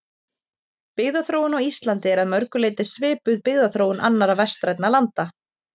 Byggðaþróun á Íslandi er að mörgu leyti svipuð byggðaþróun annarra vestrænna landa.